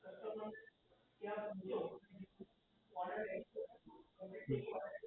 હમ